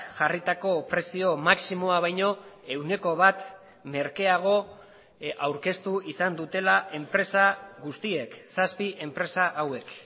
jarritako prezio maximoa baino ehuneko bat merkeago aurkeztu izan dutela enpresa guztiek zazpi enpresa hauek